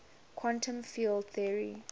quantum field theory